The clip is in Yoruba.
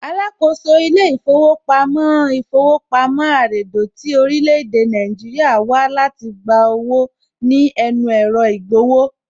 Alákòóso ilé ìfowópamọ́ ilé īfówopamí àredò tí orílẹ̀ èdè Nàìjíríà wá láti wá gba owó ní ẹnu ẹ̀rọ ìgbowó